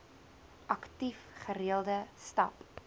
aktief gereelde stap